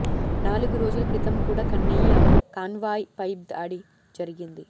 నాలుగు రోజుల క్రితం కూడా కన్నయ్య కాన్వాయ్ పై దాడి జరిగింది